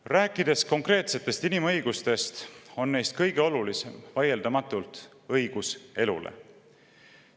Kui rääkida konkreetsetest inimõigustest, siis kõige olulisem neist on vaieldamatult õigus elule.